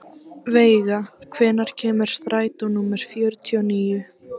Veiga, hvenær kemur strætó númer fjörutíu og níu?